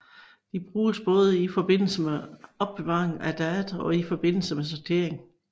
De bruges både i forbindelse med opbevaring af data og i forbindelse med sortering